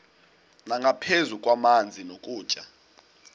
nangaphezu kwamanzi nokutya